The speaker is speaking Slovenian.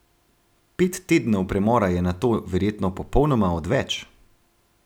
Pet tednov premora je nato verjetno popolnoma odveč?